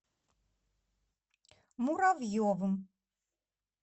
муравьевым